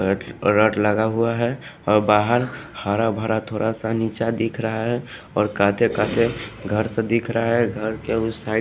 रट लगा हुआ है और बाहर हरा भरा थोड़ा सा नीचा दिख रहा है और काते-काते घर से दिख रहा है घर के उस--